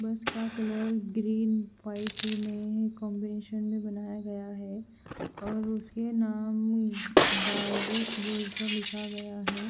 बस का colour green white में कांबिनेशन में बनाया गया है और उसके नाम का लिखा गया है ।